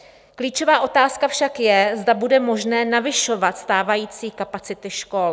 Klíčová otázka však je, zda bude možné navyšovat stávající kapacity škol.